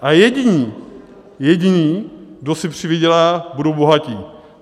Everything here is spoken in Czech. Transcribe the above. A jediní, jediní, kdo si přivydělá, budou bohatí.